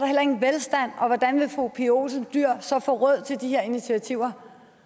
heller ingen velstand og hvordan vil fru pia olsen dyhr så få råd til de her initiativer